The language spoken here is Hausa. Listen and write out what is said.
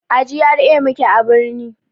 A GRA muke a birni